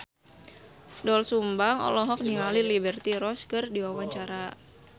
Doel Sumbang olohok ningali Liberty Ross keur diwawancara